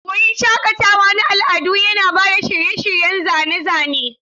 Wurin shakatawa na al'adu yana ba da shirye-shiryen zane-zane.